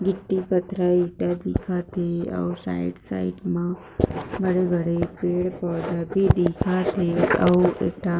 गिट्टी पत्थरा ईटा दिख थे अउ साइड साइड मा बड़े बड़े पेड़ पौधा भी दिख थे अउ एक ठा